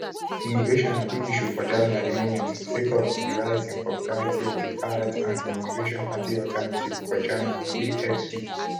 immigration na big issue for germany at di moment sake of di rise in popularity of di far-right anti-immigration party alternative for germany (afd).